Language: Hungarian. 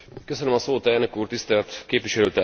Elnök Úr, Tisztelt Képviselőtársaim!